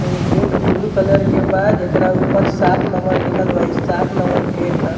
एगो gate blue colour के बा जेकरा ऊपर सात नंबर लिखल बा | इ सात नंबर गेट ह |